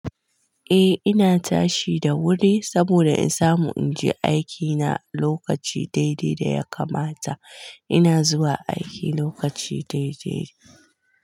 Eh ina tashi da wuri saboda in samu inje aikina lokaci daidai da ya kamata. Ina zuwa aiki lokaci daidai.